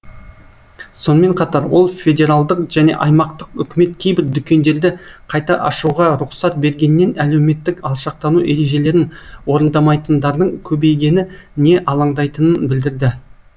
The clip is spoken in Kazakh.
сонымен қатар ол федералдық және аймақтық үкімет кейбір дүкендерді қайта ашуға рұқсат бергеннен әлеуметтік алшақтану ережелерін орындамайтындардың көбейгеніне алаңдайтынын білдірді